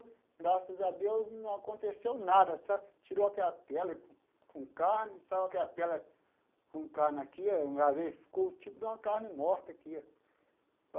Graças a Deus não aconteceu nada, só tirou aquela pele com carne, saiu aquela pele com carne aqui, ficou tipo de uma carne morta aqui.